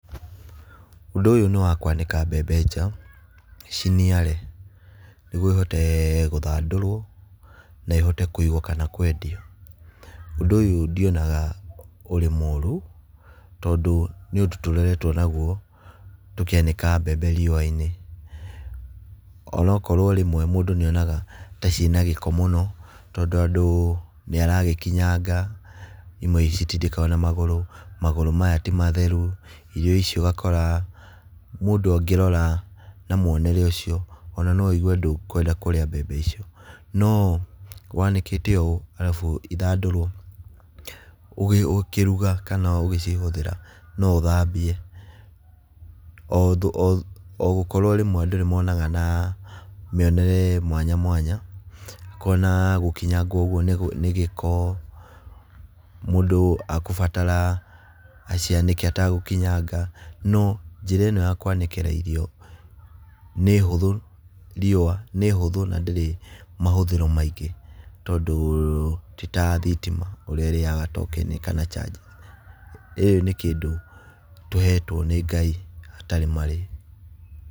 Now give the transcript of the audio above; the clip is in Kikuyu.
Ũndũ ũyũ nĩ wa kwanĩka mbembe nja ciniare, nĩguo ĩhote gũthandũrwo na ihote kũigwo kana kwendio. Ũndũ ũyũ ndionaga ũrĩ mũru, tondũ nĩ ũndũ tũreretwo naguo tũkĩanĩka mbembe riũa-inĩ, onokorwo rĩmwe mũndũ nĩonaga ta ciĩna gĩko mũno tondũ andũ nĩaragĩkinyanga, imwe citindĩkagwo na magũrũ, magũrũ maya ti matheru, irio icio ũgakora mũndũ angĩrora na muonere ũcio, ona no wĩigue ndũkwenda kũrĩa mbembe icio. No wanĩkĩte ũũ arabu ithandũrwo, ũkĩruga kana ũgĩcihũthĩra, no ũthambie. O gũkorwo rĩmwe andũ nĩmonaga na mĩonere mwanya mwanya, akona gũkinyanga ũguo nĩ nĩ gĩko, mũndũ akũbatara acianĩke ategũkinyanga, no njĩra ĩno ya wanĩkĩra irio nĩ hũthũ riũa nĩ hũthũ na ndĩrĩ mahũthĩro maingĩ, tondũ ti ta thitima ũrĩa ĩrĩaga tokeni kana charges, ĩĩ nĩ kĩndũ tũhetwo nĩ Ngai hatarĩ marĩhi.